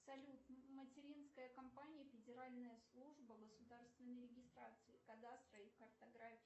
салют материнская компания федеральная служба государственной регистрации кадастра и картографии